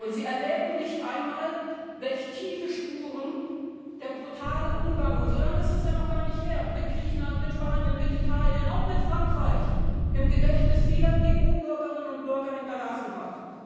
Sie erwägen nicht einmal, welch tiefe Spuren der brutale Umgang so lange es ist ja noch gar nicht her mit Griechenland, mit Spanien, mit Italien, auch mit Frankreich im Gedächtnis vieler EU Bürgerinnen und Bürger hinterlassen hat.